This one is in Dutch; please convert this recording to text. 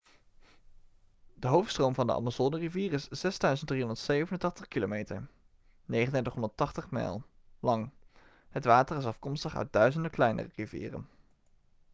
de hoofdstroom van de amazonerivier is 6.387 kilometer 3.980 mijl lang. het water is afkomstig uit duizenden kleinere rivieren